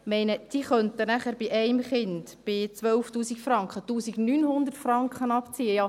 Ich meine, diese können dann bei einem Kind und 12 000 Franken 1900 Franken abziehen.